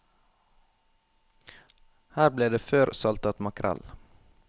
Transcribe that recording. Her ble det før saltet makrell.